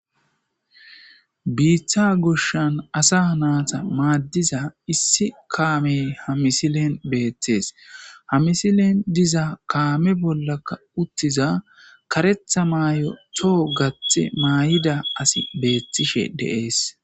Biiththa goshshan asa naata maaddiza issi kaamey hamisilen beetthees hamisilen diza kaame bollaka uttiza karetha maay'o toho gathe maay'ida asi beethtishe deees.